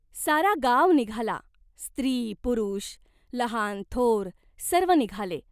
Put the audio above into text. सारा गाव निघाला, स्त्री पुरुष, लहान थोर सर्व निघाले.